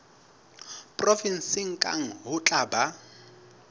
provenseng kang ho tla ba